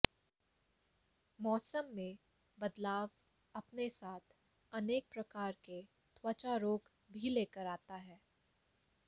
मौसम में बदलाव अपने साथ अनेक प्रकार के त्वचा रोग भी लेकर आता है